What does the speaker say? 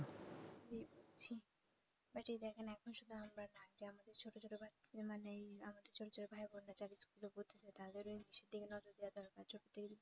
এ মানেই আমাদের ছোট ছোট ভাই ও বোনরা যারা school এ পড়তেছে তাদের ও english এর দিকে নজর দেওয়া দরকার ছোট থেকেই